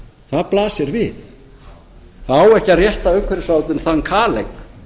það blasir við það á ekki að rétta umhverfisráðuneytinu þann kaleik